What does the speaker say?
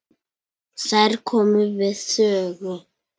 Þær komu við sögu.